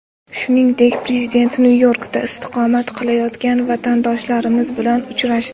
Shuningdek, prezident Nyu-Yorkda istiqomat qilayotgan vatandoshlarimiz bilan uchrashdi .